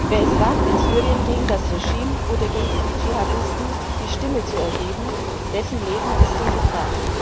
Wer es wagt, in Syrien gegen das Regime oder gegen die Dschihadisten die Stimme zu erheben, dessen Leben ist in Gefahr.